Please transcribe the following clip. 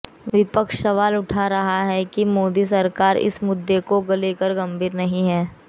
विपक्ष सवाल उठा रहा है कि मोदी सरकार इस मुद्दे को लेकर गंभीर नहीं है